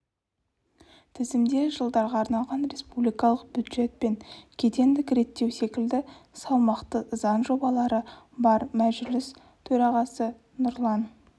тізімде жылдарға арналған республикалық бюджет пен кедендік реттеу секілді салмақты заң жобалары бар мәжіліс төрағасы нұрлан